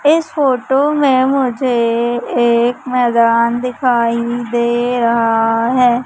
इस फोटो में मुझे एक मैदान दिखाई दे रहा है।